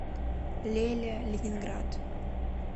леля ленинград